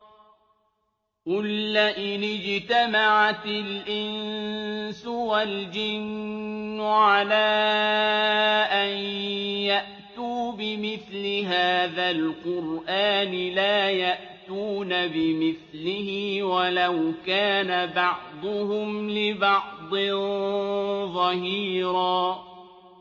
قُل لَّئِنِ اجْتَمَعَتِ الْإِنسُ وَالْجِنُّ عَلَىٰ أَن يَأْتُوا بِمِثْلِ هَٰذَا الْقُرْآنِ لَا يَأْتُونَ بِمِثْلِهِ وَلَوْ كَانَ بَعْضُهُمْ لِبَعْضٍ ظَهِيرًا